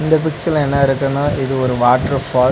இந்த பிச்சர்ல என்ன இருக்குனா இது ஒரு வாட்டர் ஃபால் .